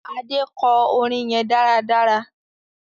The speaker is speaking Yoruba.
Ade kò orin yén dáradára